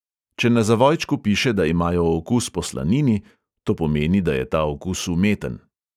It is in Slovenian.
Če na zavojčku piše, da imajo okus po slanini, to pomeni, da je ta okus umeten.